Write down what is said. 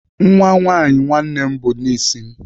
Nwa nwaanyị nwanne m bụ nis m.